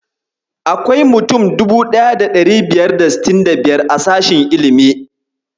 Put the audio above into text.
Akwai mutum 1565 a sashen ilimi.